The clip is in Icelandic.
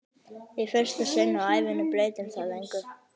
Í fyrsta sinn á ævinni breytir það engu.